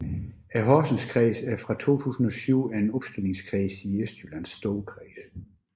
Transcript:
Horsenskredsen er fra 2007 en opstillingskreds i Østjyllands Storkreds